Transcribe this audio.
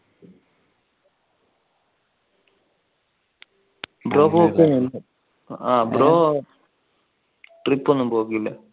brotrip ഒന്നും പോക്കില്ല?